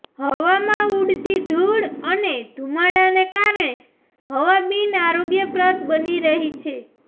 હવામાં ઉડતી ધૂળ અને ધૂમાડાના કારણે હવા બિન આરોગ્યપ્રદ બની રહી છે